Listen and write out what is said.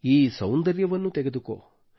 ಈ ಸೌಂದರ್ಯವನ್ನು ತೆಗೆದುಕೋ